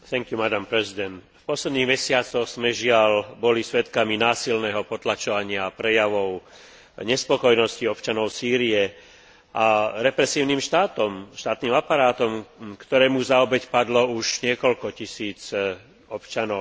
V posledných mesiacoch sme, žiaľ, boli svedkami násilného potlačovania prejavov nespokojnosti občanov Sýrie represívnym štátom, štátnym aparátom, ktorému za obeť padlo už niekoľko tisíc občanov, civilistov.